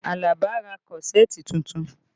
Alaba ra kọ́ṣẹ̀ẹ̀tì tuntun